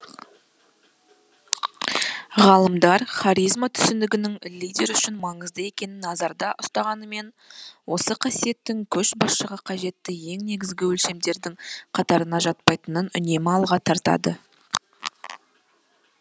ғалымдар харизма түсінігінің лидер үшін маңызды екенін назарда ұстаныммен осы қасиеттің көшбасшысыға қажетті ең негізгі өлшемдердің қатарына жатпайтынын үнемі алға тартады